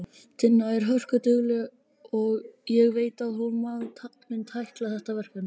Tinna er hörkudugleg og ég veit að hún mun tækla þetta verkefni.